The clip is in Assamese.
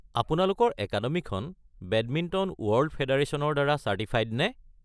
আপোনালোকৰ একাডেমিখন বেডমিণ্টন ৱৰ্ল্ড ফে'ডাৰেচনৰ দ্বাৰা চাৰ্টিফাইড নে?